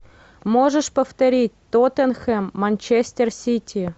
можешь повторить тоттенхэм манчестер сити